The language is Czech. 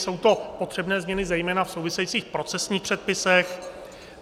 Jsou to potřebné změny zejména v souvisejících procesních předpisech.